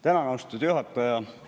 Tänan, austatud juhataja!